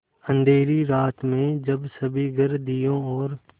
अँधेरी रात में जब सभी घर दियों और